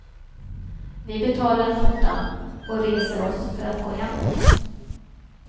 Vi betalar notan och reser oss för att gå hemåt.